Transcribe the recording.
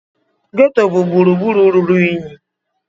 Ghetto bụ gburugburu ruru unyi.